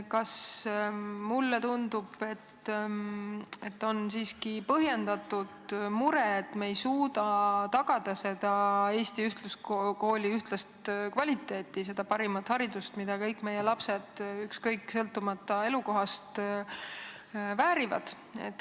Mulle tundub, et on siiski põhjendatud mure, et me ei suuda tagada Eesti ühtluskooli ühtlast kvaliteeti, seda parimat haridust, mida kõik meie lapsed elukohast sõltumata väärivad.